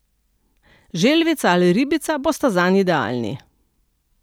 Želvica ali ribica bosta zanj idealni.